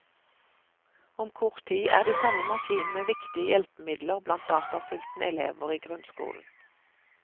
Om kort tid er de samme maskinene viktige hjelpemidler blant datasultne elever i grunnskolen.